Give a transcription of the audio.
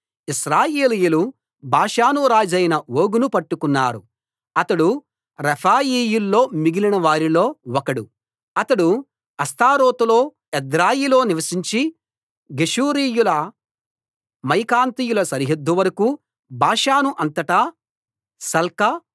ఇశ్రాయేలీయులు బాషాను రాజైన ఓగును పట్టుకున్నారు అతడు రెఫాయీయుల్లో మిగిలిన వారిలో ఒకడు అతడు అష్తారోతులో ఎద్రెయిలో నివసించి గెషూరీయుల మాయకాతీయుల సరిహద్దు వరకూ బాషాను అంతటా సల్కా